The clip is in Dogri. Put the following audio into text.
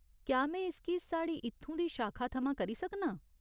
क्या में इसगी साढ़ी इत्थूं दी शाखा थमां करी सकनां ?